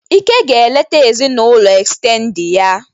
Ike ga-eleta ezinaụlọ estendedị ya.